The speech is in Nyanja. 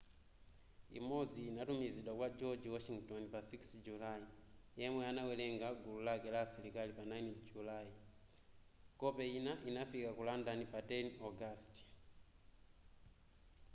imodzi inatumizidwa kwa a george washington pa 6 julayi yemwe anawerenga gulu lake la asilikali pa 9 julayi kope ina inafika ku london pa 10 ogasiti